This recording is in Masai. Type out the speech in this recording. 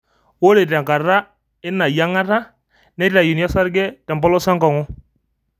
Ore tenkata ena yinagata ,neitayuni osarge tempolos enkong'u.